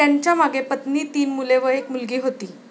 त्यांच्यामागे पत्नी, तीन मुले व एक मुलगी होती.